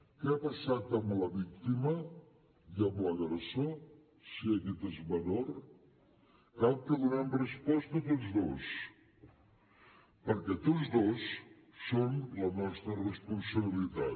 què ha passat amb la víctima i amb l’agressor si aquest és menor cal que els donem resposta a tots dos perquè tots dos són la nostra responsabilitat